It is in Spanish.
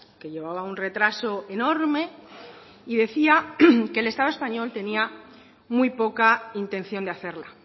que llevaba un retraso enorme y decía que el estado español tenía muy poca intención de hacerla